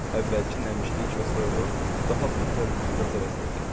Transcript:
Əvvəlki nəmişlik və soyuğu daha betər rütubət əvəzlədi.